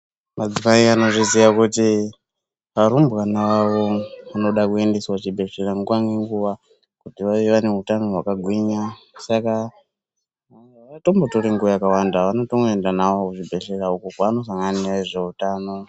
Madzimai anozviziya kuti arumbwana avo anoda kuendeswa kuchibhedhleya nguva nenguva kuti vave vane hutano hwakagwinya. Saka havatombotori nguva yakawanda vanotongoenda navo kuzvibhedhlera uko kwaanosangana nezveutano.